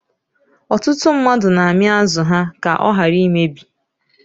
Ọtụtụ mmadụ na-ami azụ ha ka ọ ghara imebi.